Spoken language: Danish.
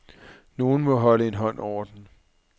Nogen må holde en hånd over den.